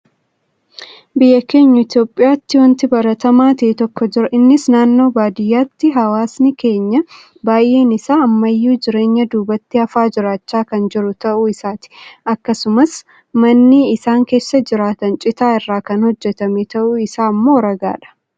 Biyya keenya Itoophiyaatti waanti baratamaa ta'e tokko jira. Innis naannoo baadiyyaatti hawaasni keenya baay'een isaa ammayyuu jireenya duubatti hafaa jiraachaa kan jiru ta'uu isaati. Akkasumas manni isaan keessa jiraatan citaa irraa kan hojjetame ta'uun isaa immoo ragaadha.